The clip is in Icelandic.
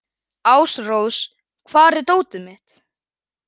Ásrós, hvar er dótið mitt?